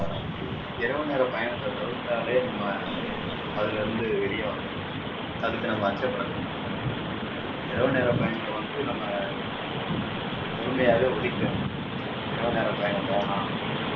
இரவு நேர பயணத்தை தவிர்த்தாலே நம்ம அதுல இருந்து வெளிய வரலாம் அதுக்கு நம்ம அச்சப்பட தேவையில்லை இரவு நேர பயணத்தை வந்து நம்ம முழுமையாவே ஒதுக்கிடணும் இரவு நேர பயணம் வேணாம்